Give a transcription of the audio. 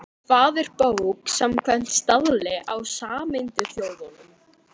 Hvað er bók samkvæmt staðli frá Sameinuðu þjóðunum?